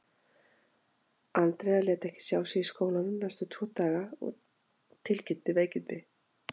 Andrea lét ekki sjá sig í skólanum næstu tvo daga og tilkynnti veikindi.